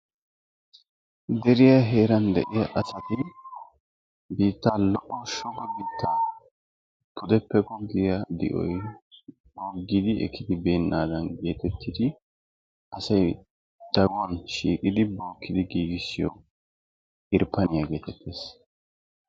deriya heerani de"iyaa assati biitta di"oyi ekide beena mala di"uwa yafara medhidi de"iya assata.